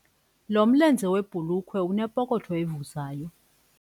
Lo mlenze webhulukhwe unepokotho evuzayo.